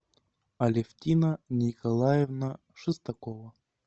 алевтина николаевна шестакова